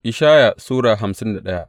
Ishaya Sura hamsin da daya